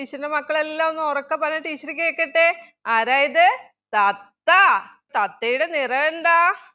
teacher ൻ്റെ മക്കളെല്ലാം ഒന്നുറക്കെ പറഞ്ഞെ teacher കേക്കട്ടെ ആരാ ഇത് തത്ത തത്തയുടെ നിറമെന്താ?